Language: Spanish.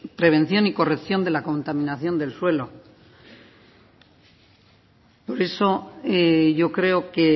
prevención y corrección de la contaminación del suelo por eso yo creo que